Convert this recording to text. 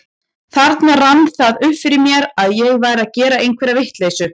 Þarna rann það upp fyrir mér að ég væri að gera einhverja vitleysu.